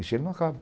Isso aí não acaba.